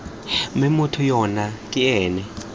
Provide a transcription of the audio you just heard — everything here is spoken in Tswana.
mme motho yo ke ena